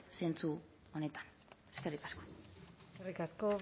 zentzu honetan eskerrik asko eskerrik asko